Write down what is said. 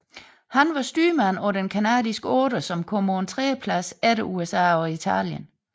Han var styrmand på den canadiske otter som kom på en tredjeplads efter USA og Italien